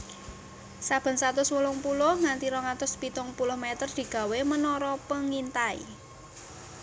Saben satus wolung puluh nganti rong atus pitung puluh meter digawé menara pengintai